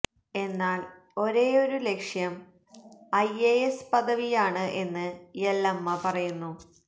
എന്നാല് ഒരെയൊരു ലക്ഷ്യം ഐ എ എസ് പദവിയാണ് എന്ന് യെല്ലമ്മ പറയുന്നു